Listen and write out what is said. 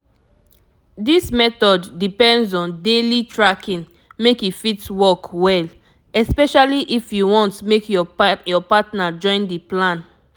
this method depends on daily tracking make e fit work well especially if you want make your partner joinb the plan